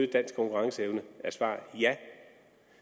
danske konkurrenceevne er svaret ja